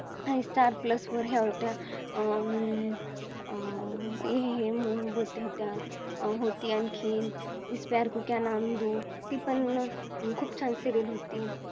आणि Star plus वर होत्या अं होत्या. आणखीन इस प्यार को क्या नाम दूँ ती पण खूप छान Serial होती.